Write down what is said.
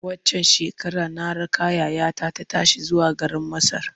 Waccan shekarar na raka yayata ta tashi zuwa garin Masar.